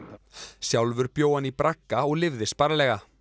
sjálfur bjó hann í bragga og lifði sparlega